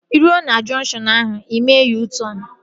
Ị ruo na junkshọnu ahu, mee U-tọn